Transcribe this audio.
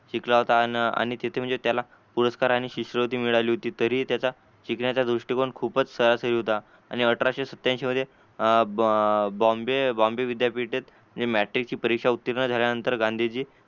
शिकला होता तिथे म्हणजे त्याला पुरस्कार आणि शिष्यवृत्ती मिळाली होती तरी त्याचा शिकण्याचा दृष्टिकोण खूपच सही होता आणि अठराशे सतत्यांशी मध्ये अं बॉम्बे बॉम्बे विध्ययपीठित म्हणजे मॅट्रिक ची परीक्षा उत्तीर्ण झाल्यानंतर गांधीजी